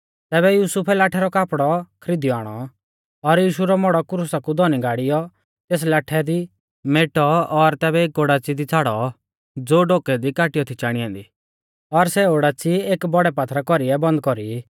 तैबै युसुफै लाठै रौ कापड़ौ खरीदियौ आणौ और यीशु रौ मौड़ौ क्रुसा कु धौनी गाड़ियौ तेस लाठै दी मेटौ और तैबै एक ओडाच़ी दी छ़ाड़ौ ज़ो ढोकै दी काटियौ थी चाणी ऐन्दी और सै ओडाच़ी एक बौड़ै पात्थरा कौरीऐ बंद कौरी